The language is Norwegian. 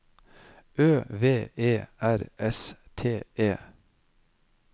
Ø V E R S T E